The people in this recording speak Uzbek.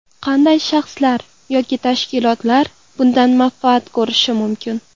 Qanday shaxslar yoki tashkilotlar bundan manfaat ko‘rishi mumkin?